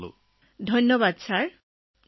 আপোনাক আন্তৰিক শুভেচ্ছা জ্ঞাপন কৰিলো